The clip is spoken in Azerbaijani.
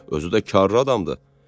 Özü də karlı adamdır."